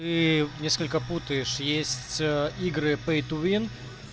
тыы несколько путаешь есть игры пэй ту вин